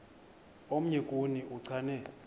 omnye kuni uchane